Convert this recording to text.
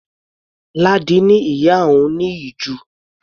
Ládi ni ìyá òun ní ìju.